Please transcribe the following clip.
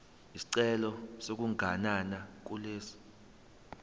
isicelo sokuganana kulesi